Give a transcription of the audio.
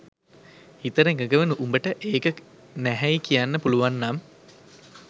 හිතට එකඟව උඹට ඒක නැහැයි කියන්න පුලුවන්නම්